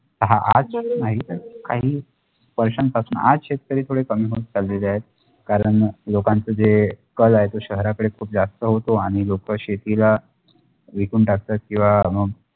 हा आज नाही तर काही वर्षा पासून आज शेतकरी थोडे कमी होत चालेले आहेत कारण लोकांचा जे कल आहे तो शहरात कडे खूप जास्त होतो आणि लोका शेतीला विकून टाकतात किंव्हा मग